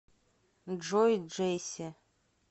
джой джесси